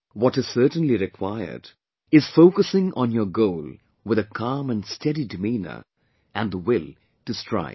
What is certainly required is focusing on your goal with a calm & steady demeanour and the will to strive